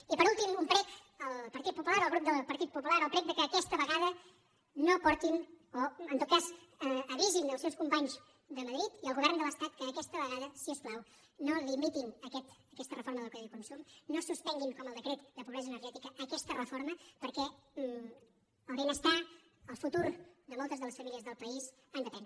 i per últim un prec al partit popular al grup del partit popular el prec que aquesta vegada no portin o en tot cas avisin els seus companys de madrid i el govern de l’estat que aquesta vegada si us plau no limitin aquesta reforma del codi de consum no suspenguin com el decret de pobresa energètica aquesta reforma perquè el benestar el futur de moltes de les famílies del país en depèn